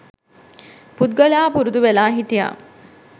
පුද්ගලයා පුරුදු වෙලා හිටියා